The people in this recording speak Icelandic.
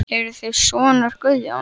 Eruð þér sonur Guðjóns?